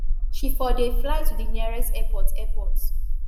she for dey fly to di nearest airport airport